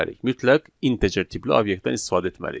Mütləq integer tipli obyektdən istifadə etməliyik.